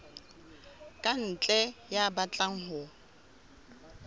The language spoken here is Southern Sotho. ka ntle ya batlang ho